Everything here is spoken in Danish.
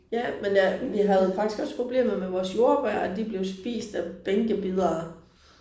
Ja men jeg vi havde faktisk også problemer med vores jordbær at de blev spist af bænkebidere